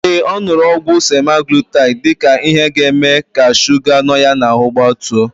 Ee, ọ nụrụ ọgwụ semaglutaid dịka ihe ga-eme ka shuga nọ ya n'ahụ gbatuo.